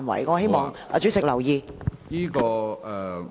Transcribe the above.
我希望主席留意。